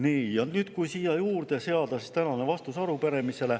Nii, ja nüüd kui siia juurde seada tänane vastus arupärimisele.